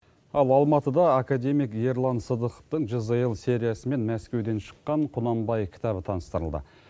ал алматыда академик ерлан сыдықовтың жзл сериясы мен мәскеуден шыққан құнанбай кітабы таныстырылды